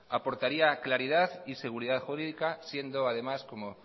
aportaría claridad y seguridad jurídica siendo además como